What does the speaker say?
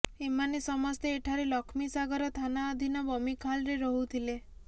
ଏମାନେ ସମସ୍ତେ ଏଠାରେ ଲକ୍ଷ୍ମୀସାଗର ଥାନା ଅଧୀନ ବମିଖାଲରେ ରହୁଥିଲେ